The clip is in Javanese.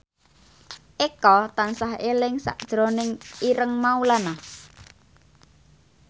Eko tansah eling sakjroning Ireng Maulana